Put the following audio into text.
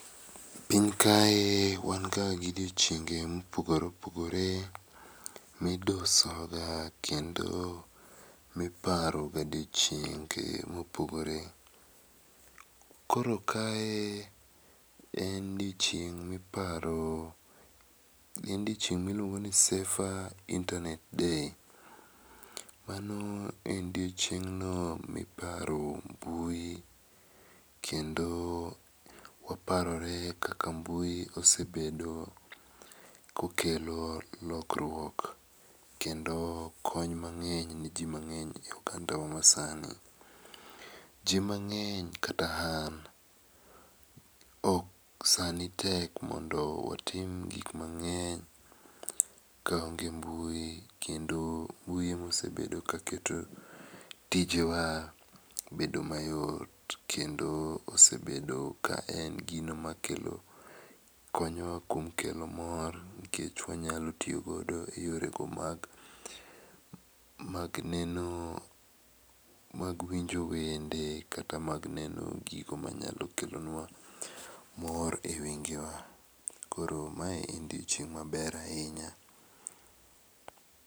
Piny kae wan ga gi odiechienge ma opogore miduso go kendo mi iparo ga odiechienge ma opogore. Koro kae en odiechieng mi iparo en odiechieng mi iluongo ni safer internet day. Mano en odiechieng no miniparo mbui kendo waparore kaka mbui osebedo ko kelo lokruok kendo kony mangeny ne ji mangeny e oganda wa masaani. Ji mangeny kata an saa ni tek mondo watim gik mangeny ka onge mbui kendo mbui ema osebedo ka keto tije wa obed ma yot .Kendo osebedo ka en gino ma kelo konyo wa kuom kelo mor nikech wanyalo tiyo godo e yore go mag mag neno mag winjo wende kata mag neno gigo ma nyalo kelonwa mor e wenge wa . Koro mae en odiechieng ma ber ahinya.